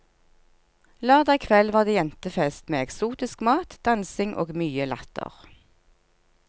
Lørdag kveld var det jentefest, med eksotisk mat, dansing og mye latter.